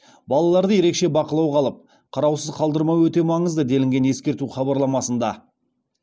балаларды ерекше бақылауға алып қараусыз қалдырмау өте маңызды делінген ескерту хабарламасында